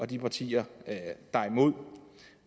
de partier der er imod og